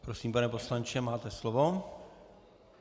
Prosím, pane poslanče, máte slovo.